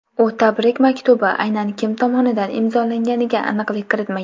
U tabrik maktubi aynan kim tomonidan imzolanganiga aniqlik kiritmagan.